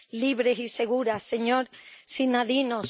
libres y seguras, señor Synadinos.